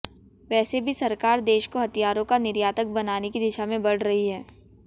वैसे भी सरकार देश को हथियारों का निर्यातक बनाने की दिशा में बढ़ रही है